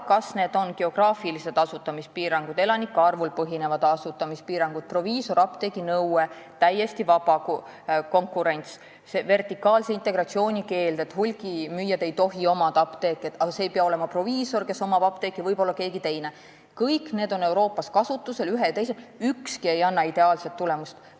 Kas on geograafilised asutamispiirangud, elanike arvul põhinevad asutamispiirangud, proviisorapteegi nõue, täiesti vaba konkurents, vertikaalse integratsiooni keeld või see, et apteeke ei tohi omada hulgimüüja, aga omanik ei pea olema proviisor, võib olla keegi teine – kõik need on Euroopas kasutusel, aga ükski ei anna ideaalset tulemust.